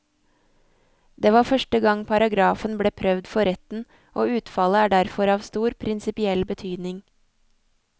Det var første gang paragrafen ble prøvd for retten, og utfallet er derfor av stor prinsipiell betydning.